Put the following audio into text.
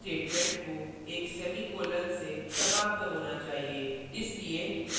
प्रत्येक c statement को एक semicolon ; से समाप्त होना चाहिए